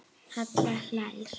Halla hlær.